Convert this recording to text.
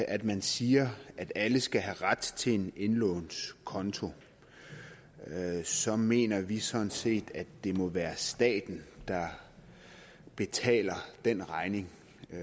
at man siger at alle skal have ret til en indlånskonto så mener vi sådan set at det må være staten der betaler den regning